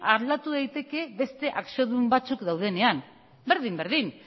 aldatu daiteke beste akziodun batzuk daudenean berdin berdin